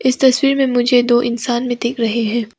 इस तस्वीर में मुझे दो इंसान भी दिख रहे हैं।